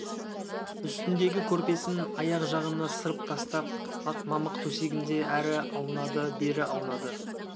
үстіндегі көрпесін аяқ жағына сырып тастап ақ мамық төсегінде әрі аунады бері аунады